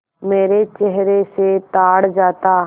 मेरे चेहरे से ताड़ जाता